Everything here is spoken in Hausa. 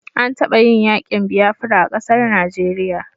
An taba yin yakin biafira a ƙasar Najeriya